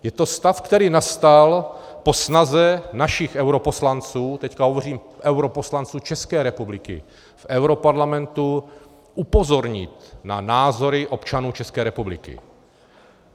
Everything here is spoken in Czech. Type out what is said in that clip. Je to stav, který nastal po snaze našich europoslanců, teď hovořím europoslanců České republiky v europarlamentu, upozornit na názory občanů České republiky.